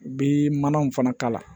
U bɛ manaw fana k'a la